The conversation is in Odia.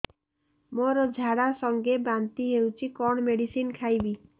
ମୋର ଝାଡା ସଂଗେ ବାନ୍ତି ହଉଚି କଣ ମେଡିସିନ ଖାଇବି